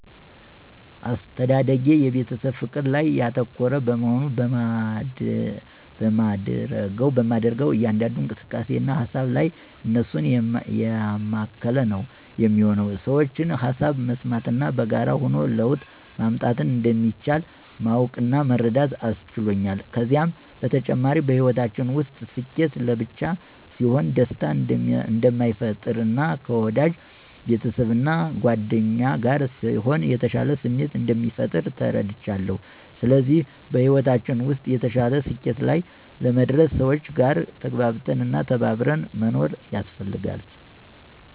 አስተዳደጌ የቤተሰብ ፍቅር ላይ ያተኮረ በመሆኑ በማደርገው እያንዳንዱ እንቅስቃሴ እና ሃሳብ ላይ እነሱን ያማከለ ነው የሚሆነው። የሠዎችን ሃሳብ መስማት እና በጋራ ሆኖ ለውጥ ማምጣት እንደሚቻል ማወቅ እና መረዳት አስችሎኛል። ከዚም በተጨማሪ በሕይወታችን ውስጥ ስኬት ለብቻ ሲሆን ደስታ እንደማይፈጥር እና ከወዳጅ ቤተሰብ እና ጉአደኛ ጋር ሲሆን የተሻለ ስሜት እንደሚፈጥር ተረድቻለው። ስለዚህ በሕይወታችን ውስጥ የተሻለ ስኬት ላይ ለመድረስ ሰዎች ጋር ተግባብቶ እና ተከባብሮ መኖር ያስፈልጋል።